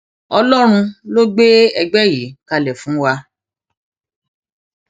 ọlọrun ló gbé ègbé yìí kalẹ fún wa